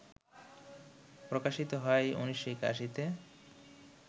প্রকাশিত হয় ১৯৮১তে